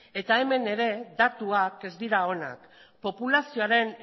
eta hemen ere datuak ez dira onak populazioaren